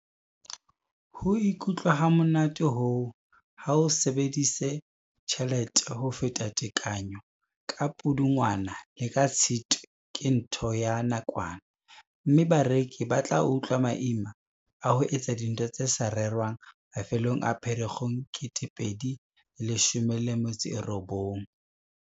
Ho ikutlwa hamonate hoo, ha o sebedisa tjhelete ho feta tekanyo ka Pudungwana le ka Tshitwe ke ntho ya nakwana, mme bareki ba tla utlwa maima a ho etsa dintho tse sa rerwang mafelong a Pherekgong 2019.